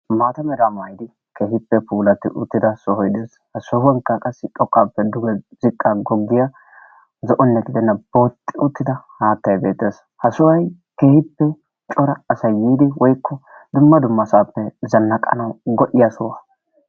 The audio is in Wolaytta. maata meraa maayidi keehippe puulatti uttida soohoy de'ees. ha sohuwankka qassi xoqqaappe duge ziqqaa goggiyaa zo'onne gidenna booxxi uttida haattay beettees. ha soohay keehippe cora asay yiidi woykko dumma dumma yiidi zannaqanawu go'iyaa sohuwaa.